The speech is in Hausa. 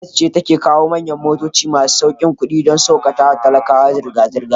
Gomnati ta kawo manyan motoci masu saukin kudi, don saukakawa talakawa zirga zirga